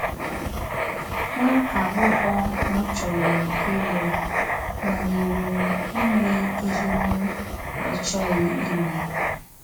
Nwa agbọghọ m chọrọ ịlụ, manyere m ime ihe m na - achọghị ime.